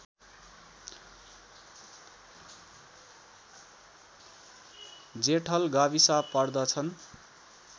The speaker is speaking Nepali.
जेठल गाविस पर्दछन्